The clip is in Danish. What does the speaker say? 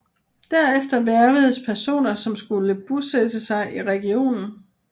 Derefter hvervedes personer som skulle bosætte sig i regionen